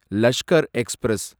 Lashkar express